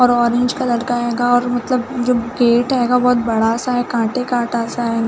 और orange colour का हेगा और मतलब जो गेट हेगा बहुत बड़ा सा है काटे का सा है ।